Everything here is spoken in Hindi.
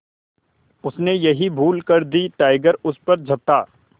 उसने यही भूल कर दी टाइगर उस पर झपटा